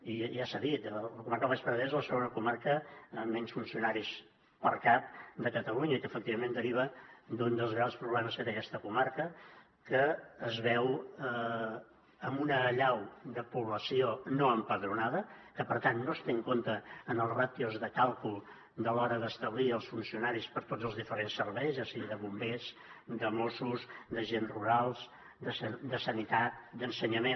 i ja s’ha dit la comarca del baix penedès és la segona comarca amb menys funcionaris per cap de catalunya i que efectivament deriva d’un dels grans problemes que té aquesta comarca que es veu amb una allau de població no empadronada que per tant no es té en compte en les ràtios de càlcul a l’hora d’establir els funcionaris per a tots els diferents serveis ja sigui de bombers de mossos d’agents rurals de sanitat d’ensenyament